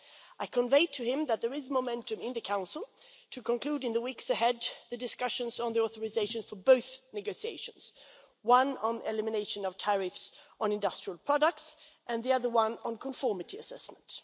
I conveyed to him that there is momentum in the Council to conclude, in the weeks ahead, the discussions on authorisation for both negotiations one on elimination of tariffs on industrial products and the other one on conformity assessment.